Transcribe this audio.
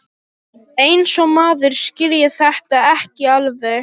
Eins og maður skilji þetta ekki alveg!